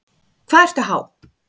Hvað ertu há?